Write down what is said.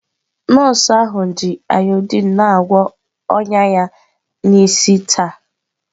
Nọọsụ ahụ ji ayodiin na-agwọ ọnya ya n'isi taa.